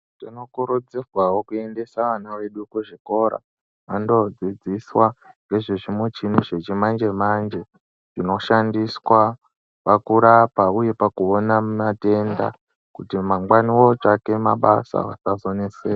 Tinokurudzirwawo kuendesa ana edu kuzvikora andodzidziswa ngezve chimuchini yechimanje manje zviboshandiswa pakurapa uye pakuona matenda kuti mangwani votsvake mabasa vasazoneseka.